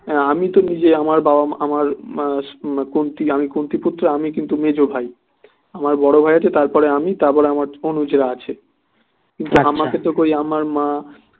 আমি তো নিজে আমার বাবা মা আমার কুন্তী আমি কুন্তী পুত্র আমি কিন্তু মেজ ভাই আমার বড় ভাই আছে তারপরে আমি তারপরে আমার অনুজরা আছে কিন্তু আমাকে তো কই আমার মা